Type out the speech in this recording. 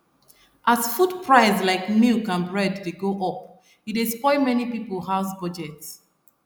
as food price like milk and bread dey go up e dey spoil many people house budget